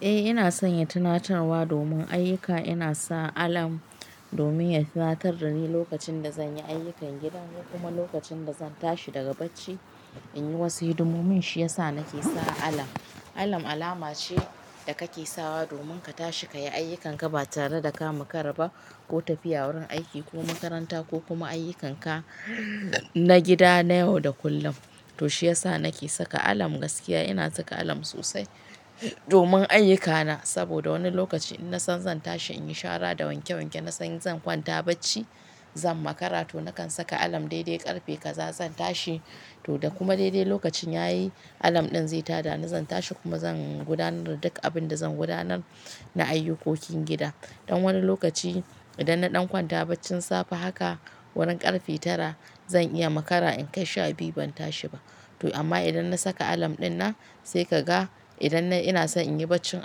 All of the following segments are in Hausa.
Eh ina son yin tunatarwa domin ayyuka. Ina sa alarm domin ya tunatar da ni lokacin da zan yi ayyukan gida kuma lokacin da zan tashi daga bacci in yi wasu hidimomi. Mun shiyasa nake sa alarm. Alarm alama ce da kake sawa domin ka tashi ka yi ayyukanka ba tare da ka makara ba ko tafiya wurin aiki ko makaranta ko kuma ayyukanka na gida na yau da kullum. To shi yasa nake saka alarm gaskiya. Ina saka alarm sosai domin ayyukana saboda wani lokaci in nasan zan tashi in yi shara da wanke wanke, na san zan kwanta bacci, zan makara to na kan saka alarm dai dai ƙarfe kaza zan tashi. To da kuma dai dai lokacin yayi alarm ɗin zai ta da ni zan tashi kuma zan gudanar da duk abin da zan gudanar na ayyukokin gida. Dan wani lokaci idan na ɗan kwanta bacci safe haka wurin ƙarfe tara zan iya makara in kai sha biyu ban tashi ba. To amma idan na saka alarm ɗin nan sai ka ga idan ina so in yi bacci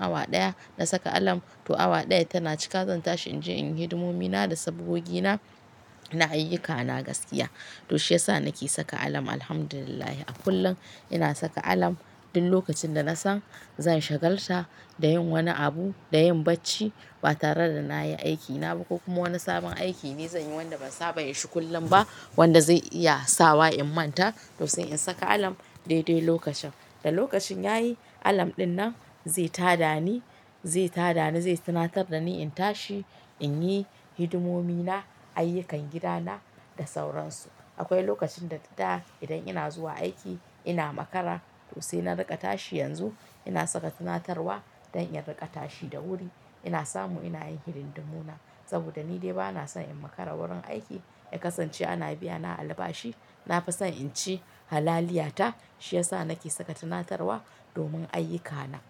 awa ɗaya na saka alarm to awa ɗaya tana cika zan tashi in je in yi hidimomina da sabgogi na ayyukana gaskiya. To shi yasa nake saka alarm. Alhamdulillah a kullum ina saka alarm duk lokacin da na san zan shagalta da yin wani abu, da yin bacci ba tare da na yi aikina ba ko kuma wani sabon aiki ne zan yi wanda ban saba yin shi kullum ba wanda zai iya sawa in manta to sai in saka alarm dai dai lokacin. Da lokacin yayi alarm ɗin nan zai ta da ni, zai ta da ni, zai tunatar da ni in tashi in yi hidimomi na, ayyukan gidana da sauransu. Akwai lokacin da idan ina zuwa aiki ina makara to sai na riƙa tashi yanzu ina saka tunatarwa don in riƙa tashi da wuri. Ina samu ina yin hidimuna saboda ni dai ba na son in makara wurin aiki ya kasance ana biyana albashi. Nafison in ci halaliyata. Shi yasa nake saka tunatarwa domin ayyukana.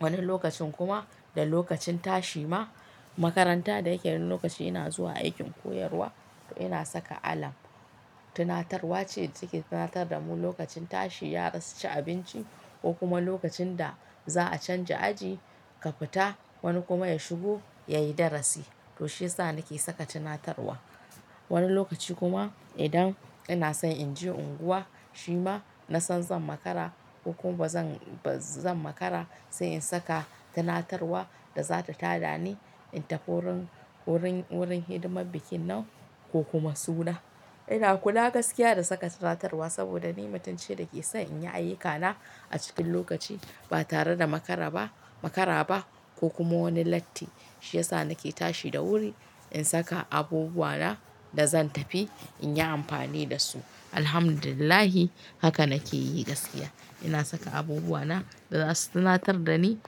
Wani lokacin kuma da lokacin tashi ma makaranta da yake wani lokaci ina zuwa aikin koyarwa to ina saka alarm. Tunatarwa ce take tunatar da mu lokacin tashi, ya rasa ci abinci ko kuma lokacin da za a canja aji ka fita wani kuma ya shigo ya yi darasi. To shi yasa nake saka tunatarwa. Wani lokacin kuma idan ina son in je unguwa, shima na san zan makara ko kuma ba zan, ba zan makara sai in saka tunatarwa da zata ta da ni in tafi wurin, wurin, wurin hidimar bikin nan ko kuma suna. Ina kula gaskiya da saka tunatarwa saboda ni mutunci ne da ke so in yi ayyukana a cikin lokaci ba tare da makara ba, makara ba ko kuma wani latti. Shi yasa nake tashi da wuri in saka abubuwana da zan tafi in yi amfani da su. Alhamdulillah haka nake yi gaskiya. Ina saka abubuwana da za su tunatar da ni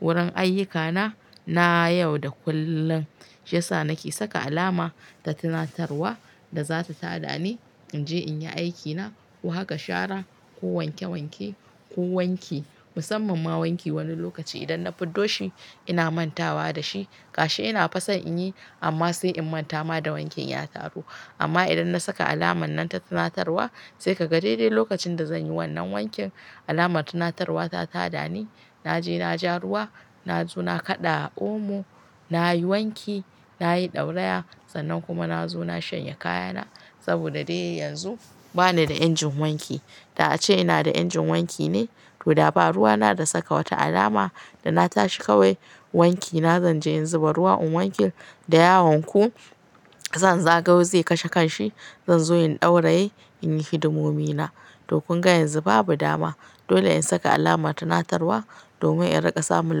wurin ayyukana na yau da kullum. Shi yasa nake saka alama ta tunatarwa da zata ta da ni in je in yi aikina ko haka shara ko wanke wanke ko wanki. Musamman ma wanki wani lokaci idan na fiddo shi ina mantawa da shi gashi ina fason in yi amma sai in manta ma da wankin ya taru. Amma idan na saka alamar nan ta tunatarwa sai ka ga dai dai lokacin da zan yi wannan wankin alamar tunatarwa ta ta da ni. Naje na ja ruwa, na zo na kaɗa omo, na yi wanki, na yi ɗauraya sannan kuma na zo na shanye kayana saboda dai yanzu ba ni da injin wanki. Da ace ina da injin wanki ne to da ba ruwa na da saka wata alama da na tashi kawai wankina zan je in zuba ruwa in wanke da yawanku zan zago zai kashe kanshi. Zan zo in ɗauraye, in yi hidimomi na. To kunga yanzu babu dama. Dole in saka alamar tunatarwa domin in riƙa samun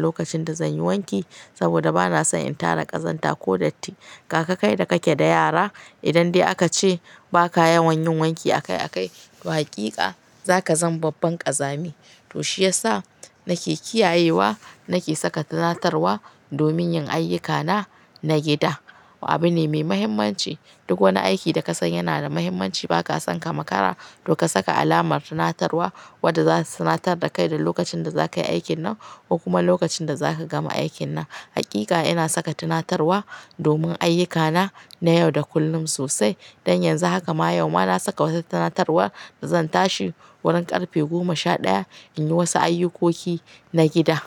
lokacin da zan yi wanki saboda ba na son in tara ƙazanta ko datti. Kaka kai da kake da yara idan dai aka ce ba ka yawan yin wanki a kai a kai to hakika zaka zama babban ƙazami. To shi yasa nake kiyayewa, nake saka tunatarwa domin yin ayyukana na gida. Wabi ne mai muhimmanci. Duk wani aiki da ka san yana da muhimmanci ba ka son ka makara to ka saka alamar tunatarwa wadda zata tunatar da kai da lokacin da zakayi aikin nan ko kuma lokacin da zaka gama aikin nan. Hakika ina saka tunatarwa domin ayyukana na yau da kullum sosai. Dan yanzu haka ma yau ma na saka wata tunatarwa da zan tashi wurin ƙarfe goma sha ɗaya in yi wasu ayyukoki na gida.